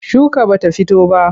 Shuka ba ta fito ba.